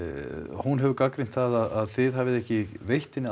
hún hefur gagnrýnt það að þið hafið ekki veitt henni